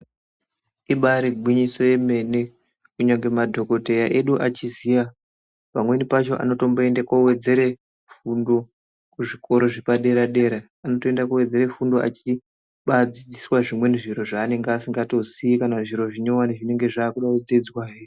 Ibari gwinyiso remene kunyangwe madhokodheya edu achiziva pamweni pacho anotomboenda kowedzera fundo kuzvikora zvepadera dera anowedzerwa fundo achidzidza zvimweni zviro zvanenge asingazivi kana zvimwe zvinyowani zvinenge zvakuda kudzidzwawo.